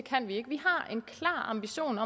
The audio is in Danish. samme